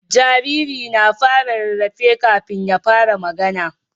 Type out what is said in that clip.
Jariri na fara yin rarrafe kafin ya fara magAna